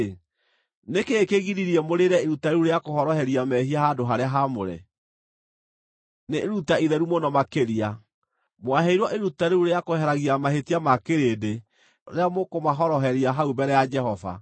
“Nĩ kĩĩ kĩgiririe mũrĩĩre iruta rĩu rĩa kũhoroheria mehia handũ-harĩa-haamũre? Nĩ iruta itheru mũno makĩria; mwaheirwo iruta rĩu rĩa kweheragia mahĩtia ma kĩrĩndĩ rĩrĩa mũkũmahoroheria hau mbere ya Jehova.